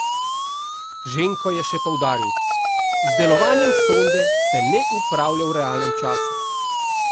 Ženko je še poudaril: "Z delovanjem sonde se ne upravlja v realnem času.